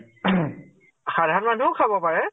সাধাৰণ মানুহেও পাৰে ।